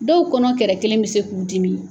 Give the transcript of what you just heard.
Dɔw kɔnɔ kɛrɛ kelen bɛ se k'u dimi.